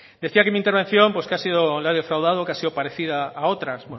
decía que mi intervención pues que ha sido la he defraudado que ha sido parecida a otras